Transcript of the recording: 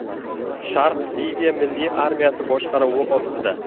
Sharq Liviya milliy armiyasi boshqaruvi ostida.